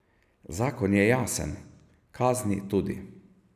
Zakon je jasen, kazni tudi.